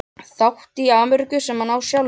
þátt í Ameríku sem hann á sjálfur.